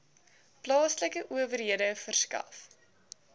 plaaslike owerhede verskaf